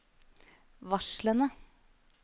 varslene